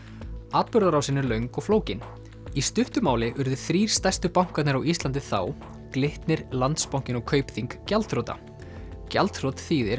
atburðarásin er löng og flókin í stuttu máli urðu þrír stærstu bankarnir á Íslandi þá Glitnir Landsbankinn og Kaupþing gjaldþrota gjaldþrot þýðir